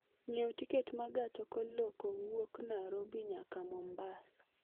ng'iew tiket maa gach okolokowuok nairobi nyaka mombasa